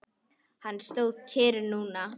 Hann stóð kyrr núna.